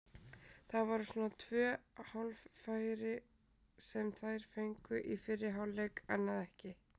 Það voru svona tvö hálffæri sem þær fengu í fyrri hálfleik, annað ekki.